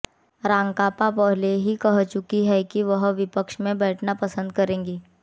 राकांपा पहले ही कह चुकी है कि वह विपक्ष में बैठना पसंद करेगी